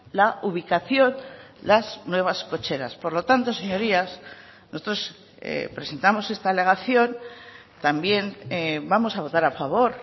la ubicación las nuevas cocheras por lo tanto señorías nosotros presentamos esta alegación también vamos a votar a favor